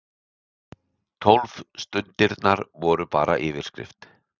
Tólf stundirnar voru bara yfirskin.